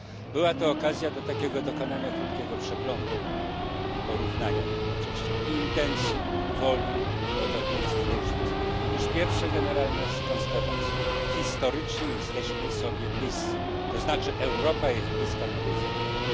Była to okazja do takiego dokonania krótkiego przeglądu i porównania jednocześnie intencji, woli, podobieństw, różnic. Otóż pierwsza generalna konstatacja historycznie jesteśmy sobie bliscy, to znaczy Europa jest bliska Nowej Zelandii.